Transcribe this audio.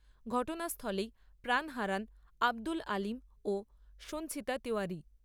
ঘটনাস্থলেই প্রাণ হারান আব্দুল আলিম ও সঞ্চিতা তেওয়ারী।